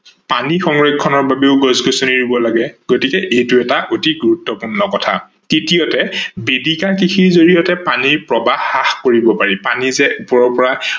পানী সংৰক্ষনৰ বাবেও গছ-গছনি ৰুব লাগে গতিকে এইটো এটা অতি গুৰুত্বপূৰ্ণ কথা। তৃতীয়তে বেদিকা কৃষি বাবে পানীৰ প্ৰবাহ হ্ৰাস কৰিব পাৰি, পানী যে ওপৰৰ পৰা